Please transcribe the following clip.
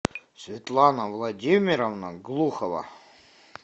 светлана владимировна глухова